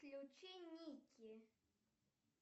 включи ники